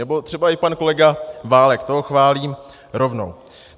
Nebo třeba i pan kolega Válek, toho chválím rovnou.